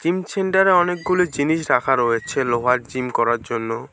Gym ছেন্টারে অনেকগুলো জিনিস রাখা রয়েছে লোহার জিম করার জন্য।